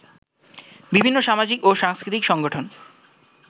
বিভিন্ন সামাজিক ও সাংস্কৃতিক সংগঠন